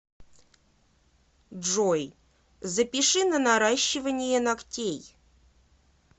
джой запиши на наращивание ногтей